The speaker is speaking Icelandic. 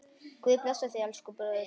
Guð blessi þig, elsku bróðir.